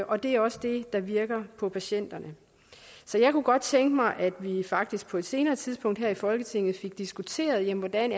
og det er også det der virker på patienterne så jeg kunne godt tænke mig at vi faktisk på et senere tidspunkt her i folketinget fik diskuteret hvordan